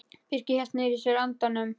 Birkir hélt niðri í sér andanum.